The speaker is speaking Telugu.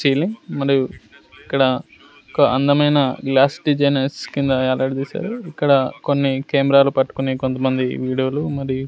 మరియు ఇక్కడ ఒక అందమైన గ్లాస్ డిజైనర్స్ కింద ఎలాడదీశారు ఇక్కడ కొన్ని కెమెరాలు పట్టుకొని కొంతమంది వీడియోలు మరీ--